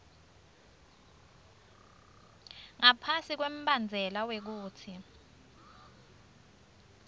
ngaphasi kwembandzela wekutsi